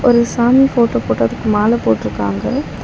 ஒரு சாமி போட்டோ போட்டு அதுக்கு மால போட்ருக்காங்க.